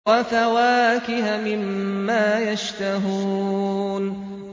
وَفَوَاكِهَ مِمَّا يَشْتَهُونَ